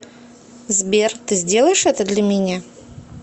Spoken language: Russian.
сбер ты сделаешь это для меня